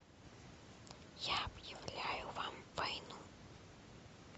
я объявляю вам войну